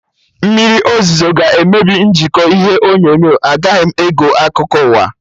Mmriri ọzụzụ ga emebi njikọ ihe onyonyo, agaghị m ege akụkọ ụwa